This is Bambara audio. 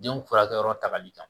Denw furakɛyɔrɔ ta ka ca